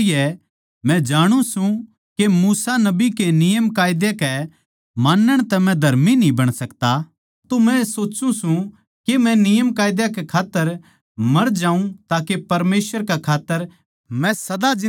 मै जाणु सूं के मूसा नबी के नियमकायदा के मानण तै मै धर्मी न्ही बण सकता तो मै सोच्चु सूं के मै नियमकायदा कै खात्तर मर जाऊँ ताके परमेसवर कै खात्तर मै सदा जिन्दा रहूँ